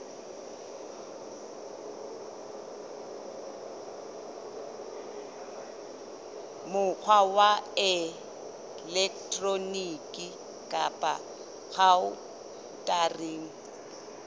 mokgwa wa elektroniki kapa khaontareng